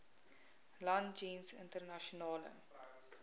land jeens internasionale